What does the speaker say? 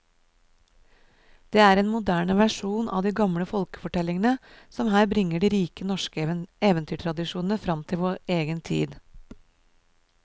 Det er en moderne versjon av de gamle folkefortellingene som her bringer de rike norske eventyrtradisjoner fram til vår egen tid.